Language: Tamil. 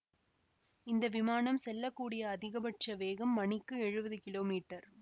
இந்த விமானம் செல்ல கூடிய அதிகபட்ச வேகம் மணிக்கு எழுவது கிலோ மீட்டர்